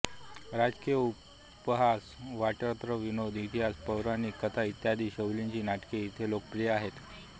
राजकीय उपहास वात्रट विनोद इतिहास पौराणिक कथा इत्यादी शैलींची नाटके इथे लोकप्रिय आहेत